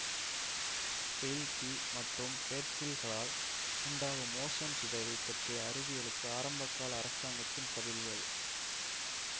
பெயில்கீ மற்றும் பேட்சில் க்களால் உண்டாகும் ஓசோன் சிதைவைப் பற்றிய அறிவியலுக்கு ஆரம்பகால அரசாங்கத்தின் பதில்கள்